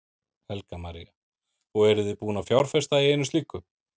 Helga María: Og eruð þið búin að fjárfesta í einu slíku?